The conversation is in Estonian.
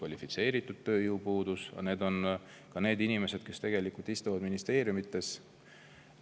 Aga see on ka inimesed, kes istuvad ministeeriumides.